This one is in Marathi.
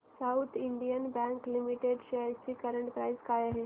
south Indian bank limited shares ची करंट प्राइस काय आहे